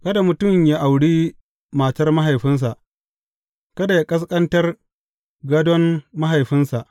Kada mutum yă auri matar mahaifinsa, kada yă ƙasƙantar gādon mahaifinsa.